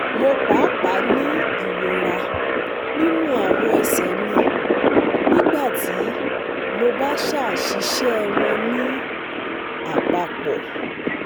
Mo paapaa ni irora ninu awọn ẹsẹ mi nigbati mo ba ṣaṣiṣẹ wọn ni apapọ